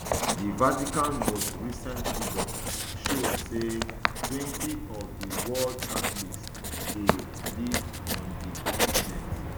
di vatican most recent figures show say twenty of di world catholics dey live on di continent